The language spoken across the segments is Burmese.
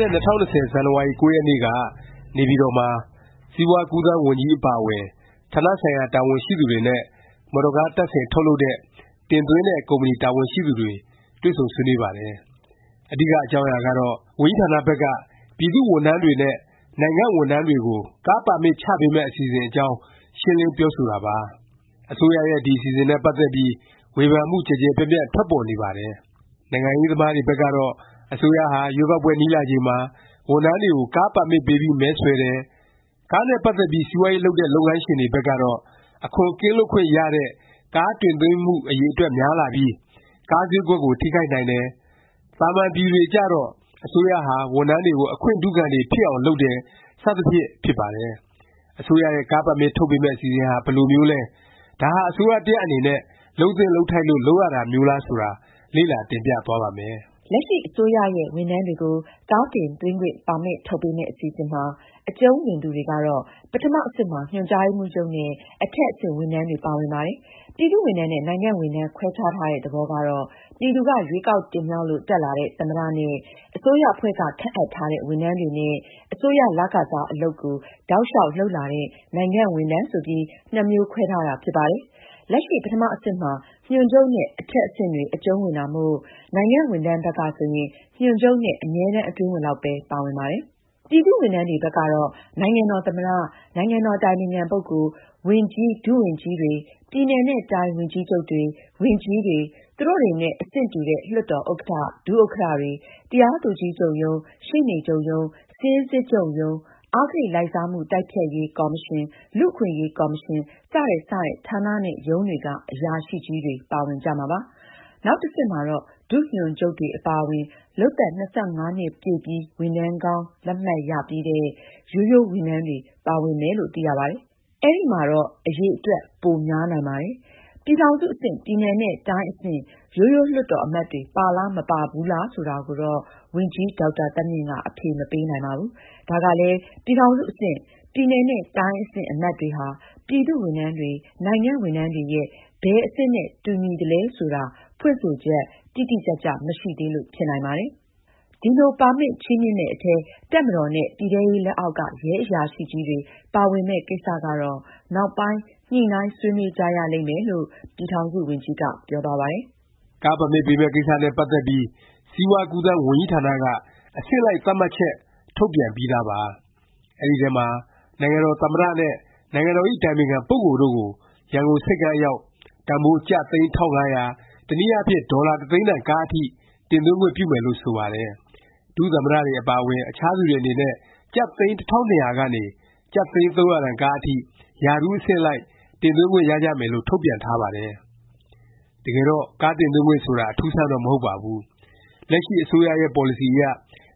တဲ့ ၂၀၂၀ ဇန်နဝါရီ ၉ ရက်နေ့က နေပြည်တော်မှာ စီးပွား-ကူးသန်း ဝန်ကြီး အပါအဝင် ဌာနဆိုင်ရာ တာဝန်ရှိသူတွေနဲ့ မော်တော်ကား တပ်ဆင် ထုတ်လုပ်တဲ့၊ တင်သွင်းတဲ့ ကုမ္ပဏီ တာဝန်ရှိသူတွေ တွေ့ဆုံဆွေးနွေးပါတယ်။ အဓိက အကြောင်းအရာကတော့ ဝန်ကြီးဌာနဘက်က ပြည်သူ့ဝန်ထမ်းတွေနဲ့ နိုင်ငံဝန်ထမ်းတွေကို ကားပါမစ် ချပေးမယ့် အစီအစဉ်အကြောင်း ရှင်းလင်း ပြောဆိုတာပါ။ အစိုးရရဲ့ ဒီ အစီအစဉ်နဲ့ ပတ်သက်ပြီး ဝေဖန်မှု ကျယ်ကျယ်ပြန့်ပြန့် ထွက်ပေါ်နေပါတယ်။ နိုင်ငံရေး သမားတွေဘက်ကတော့ အစိုးရဟာ ရွေးကောက်ပွဲ နီးလာချိန်မှာ ဝန်ထမ်းတွေကို ကားပါမစ်ပေးပြီး မဲဆွယ်တယ်၊ ကားနဲ့ ပတ်သက်ပြီး စီးပွားရေး လုပ်တဲ့ လုပ်ငန်းရှင်တွေဘက်ကတော့ အခွန်ကင်းလွတ်ခွင့်ရတဲ့ ကားတင်သွင်းမှု အရည်အတွက် များလာပြီး ကားဈေးကွက်ကို ထိခိုက်နိုင်တယ်၊ သာမန်ပြည်သူတွေကျတော့ အစိုးရဟာ ဝန်ထမ်းတွေကို အခွင့်ထူးခံတွေဖြစ်အောင် လုပ်တယ် စသဖြင့် ဖြစ်ပါတယ်။ အစိုးရရဲ့ ကားပါမစ် ထုတ်ပေးမယ့် အစီအစဉ်ဟာ ဘယ်လိုမျိုးလဲ၊ ဒါဟာ အစိုးရ တစ်ရပ် အနေနဲ့ လုပ်သင့် လုပ်ထိုက်လို့ လုပ်ရတာမျိုးလား ဆိုတာ လေ့လာ တင်ပြသွားပါ့မယ်။ လက်ရှိ အစိုးရရဲ့ ဝန်ထမ်းတွေကို ကားတင်သွင်းခွင့် ပါမစ် ထုတ်ပေးမယ့် အစီအစဉ်မှာ အကျုံးဝင်သူတွေကတော့ ပထမ အဆင့်မှာ ညွှန်ကြားရေးမှူးချုပ်နဲ့ အထက် အဆင့် ဝန်ထမ်းတွေ ပါဝင်ပါတယ်။ ပြည်သူ့ဝန်ထမ်းနဲ့ နိုင်ငံ့ဝန်ထမ်း ခွဲခြားထားတဲ့ သဘောကတော့ ပြည်သူက ရွေးကောက် တင်မြှောက်လို့ တက်လာတဲ့ သမ္မတ နဲ့ အစိုးရအဖွဲ့က ခန့်အပ်ထားတဲ့ ဝန်ထမ်းတွေနဲ့ အစိုးရ လခစား အလုပ်ကို တောက်လျောက် လုပ်လာတဲ့ နိုင်ငံ့ဝန်ထမ်း ဆိုပြီး နှစ်မျိုးခွဲထားတာ ဖြစ်ပါတယ်။ လက်ရှိ ပထမ အဆင့်မှာ ညွှန်ချုပ်နဲ့ အထက်အဆင့်တွေ အကျုံးဝင်တာမို့ နိုင်ငံ့ဝန်ထမ်းဘက်က ဆိုရင် ညွှန်ချုပ်နဲ့ အမြဲတန်း အတွင်းဝန်လောက်ပဲ ပါဝင်ပါတယ်။ ပြည်သူ့ဝန်ထမ်းတွေ ဘက်ကတော့ နိုင်ငံတော် သမ္မတ၊ နိုင်ငံတော် အတိုင်ပင်ခံ ပုဂ္ဂိုလ်၊ ဝန်ကြီး ဒုဝန်ကြီးတွေ၊ ပြည်နယ်နဲ့ တိုင်း ဝန်ကြီးချုပ်တွေ၊ ဝန်ကြီးတွေ၊ သူတို့တွေနဲ့ အဆင့်တူတဲ့ လွှတ်တော် ဥက္ကဌ၊ ဒုဥက္ကဌ တွေ၊ တရားသူကြီးချုပ်ရုံး၊ ရှေ့နေချုပ်ရုံး၊ စာရင်းစစ်ချုပ်ရုံး၊ အဂတိလိုက်စားမှုတိုက်ဖျက်ရေး ကော်မရှင်၊ လူ့အခွင့်အရေး ကော်မရှင်၊ စတဲ့ စတဲ့ ဌာနနဲ့ ရုံးတွေက အရာရှိကြီးတွေ ပါဝင်ကြမှာပါ။ နောက်တစ်ဆင့်မှာတော့ ဒုညွှန်ချုပ်တွေ အပါအဝင် လုပ်သက် ၂၅ နှစ်ပြည့်ပြီး ဝန်ထမ်းကောင်း လက်မှတ် ရပြီးတဲ့ ရိုးရိုးဝန်ထမ်းတွေ ပါဝင်မယ်လို့ သိရပါတယ်။ အဲဒီမှာတော့ အရည်အတွက် ပိုများနိုင်ပါတယ်။ ပြည်ထောင်စု အဆင့်၊ ပြည်နယ်နဲ့ တိုင်းအဆင့် ရိုးရိုး လွှတ်တော် အမတ်တွေ ပါလား မပါဘူးလား ဆိုတာကိုတော့ ဝန်ကြီး ဒေါက်တာသန်းမြင့်က အဖြေမပေးနိုင်ပါဘူး။ ဒါကလည်း ပြည်ထောင်စု အဆင့်၊ ပြည်နယ်နဲ့ တိုင်းအဆင့် အမတ်တွေဟာ ပြည်သူ့ဝန်ထမ်းတွေ၊ နိုင်ငံဝန်ထမ်းတွေရဲ့ ဘယ်အဆင့်နဲ့ တူညီသလဲ ဆိုတာ ဖွင့်ဆိုချက် တိတိကျကျ မရှိသေးလို့ ဖြစ်နိုင်ပါတယ်။ ဒီလို ပါမစ် ချီးမြှင့်မယ့် အထဲ တပ်မတော်နဲ့ ပြည်ထဲရေး လက်အောက်က ရဲအရာရှိကြီးတွေ ပါဝင်မယ့် ကိစ္စကတော့ နောက်ပိုင်း ညှိနှိုင်း ဆွေးနွေးကြရလိမ့်မယ်လို့ ပြည်ထောင်စု ဝန်ကြီးက ပြောသွားပါတယ်။ ကားပါမစ် ပေးမယ့် ကိစ္စနဲ့ ပတ်သက်ပြီး စီးပွား-ကူးသန်း ဝန်ကြီးဌာနက အဆင့်လိုက် သတ်မှတ်ချက် ထုတ်ပြန်ပြီးသားပါ။ အဲဒီထဲမှာ နိုင်ငံတော် သမ္မတနဲ့ နိုင်ငံတော်ဇ။် အတိုင်ပင်ခံ ပုဂ္ဂိုလ်တို့ကို ရန်ကုန် ဆိပ်ကမ်းအရောက် တန်ဘိုး ကျပ် သိန်း ၁၅၀၀၊ တစ်နည်းအားဖြင့် ဒေါ်လာ တစ်သိန်းတန် ကားအထိ တင်သွင်းခွင့်ပြုမယ်လို့ ဆိုပါတယ်။ ဒုသမ္မတတွေ အပါအဝင် အခြားသူတွေ အနေနဲ့ ကျပ် သိန်း ၁၂၀၀ ကနေ ကျပ် သိန်း ၃၀၀ တန်ကားအထိ ရာထူး အဆင့်အလိုက် တင်သွင်းခွင့်ရကြမယ်လို့ ထုတ်ပြန်ထားပါတယ်။ တကယ်တော့ ကားတင်သွင်းခွင့် ဆိုတာ အထူးအဆန်းတော့ မဟုတ်ပါဘူး။ လက်ရှိ အစိုးရရဲ့ ပေါ်လစီအရ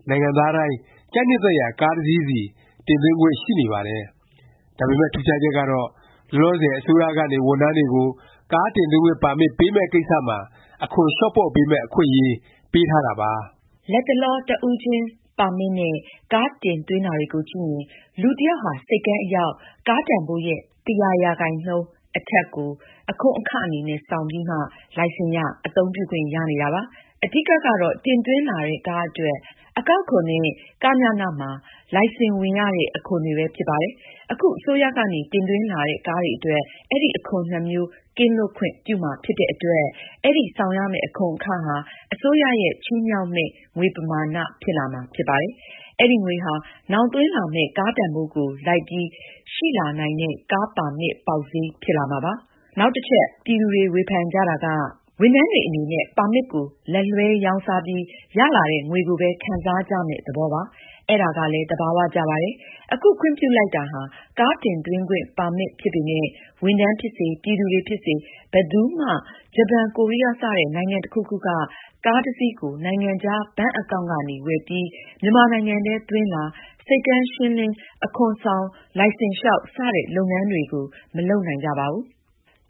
နိုင်ငံသားတိုင်း ကြိုက်နှစ်သက်ရာ ကားတစ်စီး စီ တင်သွင်းခွင့် ရှိနေပါတယ်။ ဒါပေမယ့် ထူးခြားချက်ကတော့ လောလောဆယ် အစိုးရကနေ ဝန်ထမ်းတွေကို ကားတင်သွင်းခွင့် ပါမစ် ပေးမယ့် ကိစ္စမှာ အခွန် လျော့ပေါ့ပေးမယ့် အခွင့်အရေး ပေးထားတာပါ။ လတ်တလော တစ်ဦးချင်းပါမစ် နဲ့ ကားတင်သွင်းတာတွေကိုကြည့်ရင် လူတစ်ယောက်ဟာ ဆိပ်ကမ်းအရောက် ကားတန်ဘိုးရဲ့ ၁၀၀ ရာခိုင်နှုန်း အထက်ကို အခွန်အခ အနေနဲ့ ဆောင်ပြီးမှ လိုင်စင်ရ၊ အသုံးပြုခွင့်ရနေတာပါ။ အဓိက ကတော့ တင်သွင်းလာတဲ့ ကားအတွက် အကောက်အခွန်နဲ့ ကညန မှာလိုင်စင်ဝင်ရတဲ့ အခွန်တွေပဲ ဖြစ်ပါတယ်။ အခု အစိုးရကနေ တင်သွင်းလာတဲ့ ကားတွေအတွက် အဲဒီ အခွန်နှစ်မျိုး ကင်းလွတ်ခွင့် ပြုမှာ ဖြစ်တဲ့အတွက် အဲဒီ ဆောင်ရမယ့် အခွန်အခဟာ အစိုးရရဲ့ ချီးမြှောက်မယ့် ငွေ ပမာဏ ဖြစ်လာမှာ ဖြစ်ပါတယ်။ အဲဒီငွေဟာ နောင် သွင်းလာမယ့် ကားတန်ဘိုးကို လိုက်ပြီး ရှိလာနိုင်တဲ့ ကားပါမစ် ပေါက်ဈေး ဖြစ်လာမှာပါ။ နောက်တစ်ချက် ပြည်သူတွေ ဝေဖန်ကြတာက ဝန်ထမ်းတွေ အနေနဲ့ ပါမစ်ကို လက်လွဲှရောင်းစားပြီး ရလာတဲ့ ငွေကိုပဲ ခံစားကြမယ့် သဘောပါ။ အဲဒါကလည်း သဘာ၀ ကျပါတယ်။ အခု ခွင့်ပြုလိုက်တာဟာ ကားတင်သွင်းခွင့် ပါမစ် ဖြစ်ပေမယ့် ဝန်ထမ်းဖြစ်စေ၊ ပြည်သူတွေ ဖြစ်စေ ဘယ်သူမှ ဂျပန်၊ ကိုရီးယား စတဲ့ နိုင်ငံတစ်ခုခုက ကားတစ်စီးကို နိုင်ငံခြား ဘဏ်အကောင့်န် နဲ့ ဝယ်ပြီး၊ မြန်မာနိုင်ငံထဲ သွင်းလာ၊ ဆိပ်ကမ်းရှင်းလင်း၊ အခွန်ဆောင်၊ လိုင်စင်လျောက် စတဲ့ လုပ်ငန်းတွေကို မလုပ်နိုင်ကြပါဘူး။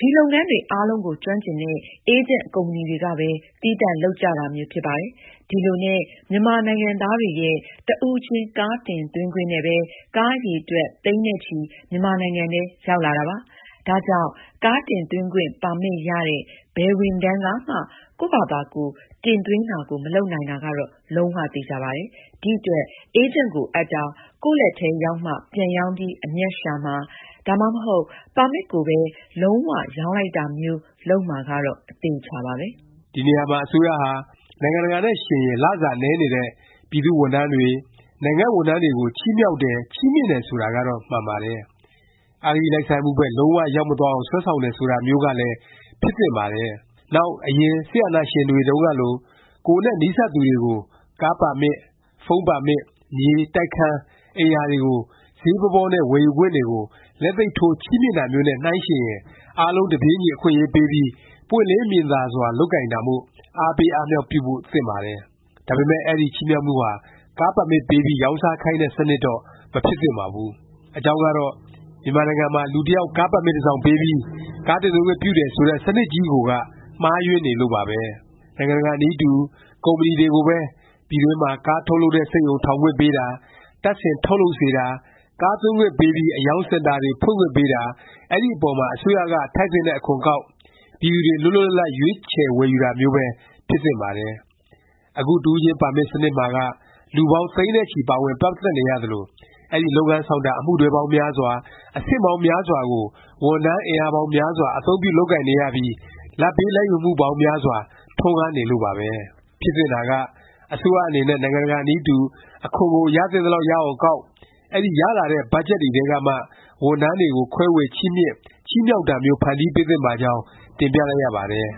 ဒီ လုပ်ငန်းတွေ အားလုံးကို ကျွမ်းကျင်တဲ့ အေးဂျင့် ကုမ္ပဏီတွေကပဲ သီးသန့် လုပ်ကြတာမျိုး ဖြစ်ပါတယ်။ ဒီလိုနည်းနဲ့ မြန်မာနိုင်ငံသားတွေရဲ့ တစ်ဦးချင်း ကားတင်သွင်းခွင့်နဲ့ပဲ ကားအရည်အတွက် သိန်းနဲ့ချီ မြန်မာနိုင်ငံထဲ ရောက်လာတာပါ။ ဒါကြောင့် ကားတင်သွင်းခွင့် ပါမစ်ရတဲ့ ဘယ်ဝန်ထမ်းကမှ ကိုယ့်ဖာသာကိုယ် ကားတင်သွင်းတာကို မလုပ်နိုင်တာကတော့ လုံး၀ သေခြာပါတယ်။ ဒီအတွက် အေးဂျင့်ကို အပ်တာ၊ ကိုယ့်လက်ထဲ ရောက်မှ ပြန်ရောင်းပြီး အမြတ်ရှာမှာ၊ ဒါမှမဟုတ် ပါမစ်ကိုပဲ လုံး၀ ရောင်းလိုက်တာမျိုး လုပ်မှာကတော့ အသေအခြာပါပဲ။ ဒီနေရာမှာ အစိုးရဟာ နိုင်ငံတကာနဲ့ ယှဉ်ရင် လစာ နည်းနေတဲ့ ပြည်သူ့ဝန်ထမ်းတွေ၊ နိုင်ငံ့ ဝန်ထမ်းတွေကို ချီးမြှောက်တယ်၊ ချီးမြှင့်တယ် ဆိုတာကတော့ မှန်ပါတယ်။ အဂတိလိုက်စားမှုဘက် လုံး၀ ရောက်မသွားအောင် ဆွဲဆောင်တယ် ဆိုတာမျိုးကလည်း ဖြစ်သင့်ပါတယ်။ နောက် အရင် စစ်အာဏာရှင်တွေတုန်းကလို ကိုယ်နဲ့ နီးစပ်သူတွေကို ကားပါမစ်၊ ဖုန်းပါမစ်၊ မြေ၊ တိုက်ခန်း၊ အိမ်ယာတွေကို ဈေးပေါပေါနဲ့ ဝယ်ယူခွင့်တွေကို လက်သိပ်ထိုး ချီးမြှင့်တာမျိုးနဲ့ နှိုင်းယှဉ်ရင် အားလုံးတပြေးညီ အခွင့်အရေးပေးပြီး ပွင့်လင်းမြင်သာစွာ လုပ်ကိုင်တာမို့ အားပေး အားမြှောက်ဖို့ သင့်ပါတယ်။ ဒါပေမယ့် အဲဒီ ချီးမြှောက်မှုဟာ ကားပါမစ် ပေးပြီး ရောင်းစားခိုင်းတဲ့ စနစ်တော့ မဖြစ်သင့်ပါဘူး။ အကြောင်းကတော့ မြန်မာနိုင်ငံမှာ လူတစ်ယောက် ကားပါမစ် တစ်စောင်ပေးပြီး ကားတင်သွင်းခွင့်ပြုတယ် ဆိုတဲ့ စနစ်ကြီးကိုက မှားယွင်းနေလို့ပါပဲ။ နိုင်ငံတကာ နည်းတူ ကုမ္ပဏီတွေကိုပဲ ပြည်တွင်းမှာ ကားထုတ်လုပ်တဲ့ စက်ရုံ ထောင်ခွင့်ပေးတာ၊ တပ်ဆင် ထုတ်လုပ်စေတာ၊ ကားသွင်းခွင့်ပေးပြီး အရောင်းစင်တာတွေ ဖွင့်ခွင့်ပေးတာ၊ အဲဒီ အပေါ်မှာ အစိုးရက ထိုက်သင့်တဲ့ အခွန်ကောက်၊ ပြည်သူတွေ လွတ်လွတ်လပ်လပ် ရွေးချယ် ဝယ်ယူတာမျိုးပဲ ဖြစ်သင့်ပါတယ်။ အခု တစ်ဦးချင်းပါမစ် စနစ်မှာက လူပေါင်း သိန်းနဲ့ချီ ပါဝင် ပတ်သက်နေရသလို၊ အဲဒီ လုပ်ငန်းဆောင်တာ အမှုတွဲပေါင်းများစွာ၊ အဆင့်ပေါင်းများစွာကို ဝန်ထမ်း အင်အားပေါင်းများစွာ အသုံးပြု လုပ်ကိုင်နေရပြီး လာဘ်ပေးလာဘ်ယူမှုပေါင်းများစွာ ထွန်းကားနေလို့ပါပဲ။ ဖြစ်သင့်တာက အစိုးရ အနေနဲ့ နိုင်ငံတကာ နည်းတူ အခွန်ကို ရသင့်သလောက် ရအောင်ကောက်၊ အဲဒီ ရလာတဲ့ ဘတ်ဂျက်တွေထဲကမှ ဝန်ထမ်းတွေကို ခွဲေ၀ ချီးမြှင့်၊ ချီးမြှောက်တာမျိုး ဖန်တီးပေးသင့်ပါကြောင်း တင်ပြလိုက်ရပါတယ်။